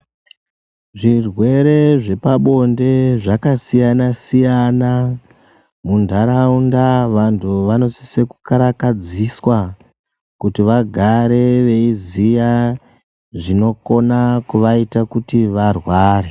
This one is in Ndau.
Zvirwere zvepabonde zvakasiyana-siyana. muntaraunda vantu vanosise kukarakadziswa. Kuti vagare veiziya zvinokona kuvaita kuti varware.